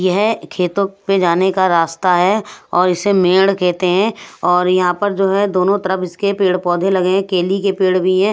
यह खेतों पे जाने का रास्ता है और इसे मेड़ कहते हैं और यहां पर जो है दोनों तरफ इसके पेड़-पौधे लगे हैं केली के पेड़ भी हैं।